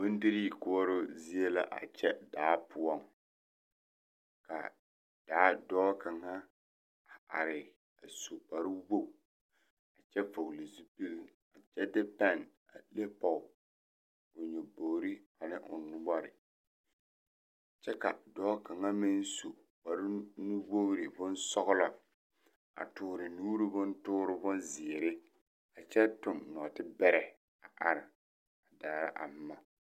Bondirii koɔroo zie la a kyɛ daa poɔŋ kaa dɔɔ kaŋa su kpare woge kyɛ vɔgle zupile kyɛde pɛn a leŋ pɔŋ nyabogre ane o noɔre kyɛ ka dɔɔ kaŋa meŋ su kpare nu wogre boŋsɔglɔ a tɔɔre nuuri bontɔɔre bonzeere a kyɛ tuŋ nɔɔtibɛrɛ a daara a boma.